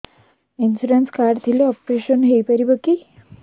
insurance card ଥିଲେ operation ହେଇପାରିବ କି